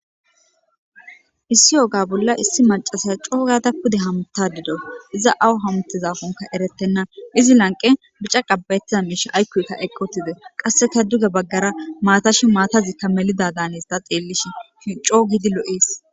issi oga bolla issi macasay coo gada pude hamta dido iza awu hamtizafunka eretenna izi lanqe bica qabbayettiza miisha aykkoyka eqqotide qasseka duge baggara maatashi maatazikka melida daanesta xeellishe coo gidi lo'ees